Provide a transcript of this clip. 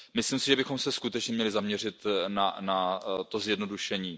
Myslím si, že bychom se skutečně měli zaměřit na to zjednodušení.